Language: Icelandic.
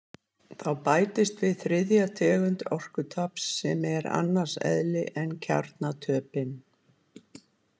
Þá bætist við þriðja tegund orkutaps sem er annars eðli en kjarnatöpin.